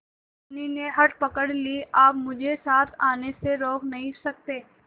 धनी ने हठ पकड़ ली आप मुझे साथ आने से रोक नहीं सकते